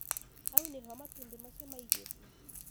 Hau niho matumbĩ macio maigĩtwo.